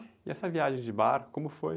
E essa viagem de barco, como foi?